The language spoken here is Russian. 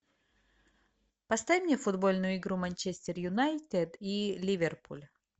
поставь мне футбольную игру манчестер юнайтед и ливерпуль